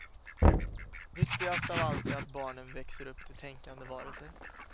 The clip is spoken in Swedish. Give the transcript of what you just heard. Viktigast av allt är att barnen växer upp till tänkande varelser.